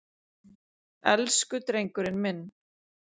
Elsku drengurinn minn.